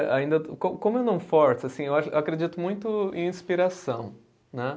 Ainda, co como eu não forço, assim, eu acho, eu acredito muito em inspiração, né?